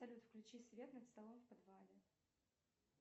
салют включи свет над столом в подвале